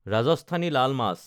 ৰাজস্থানী লাল মাছ